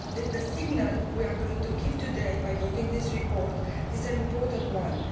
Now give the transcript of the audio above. The signal we are going to give today by voting on this report is an important one.